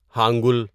hangul